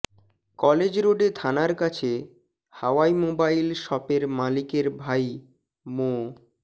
college রোডে থানার কাছে হাওয়াই মোবাইল শপের মালিকের ভাই মো